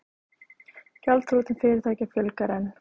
Gjaldþrotum fyrirtækja fjölgar enn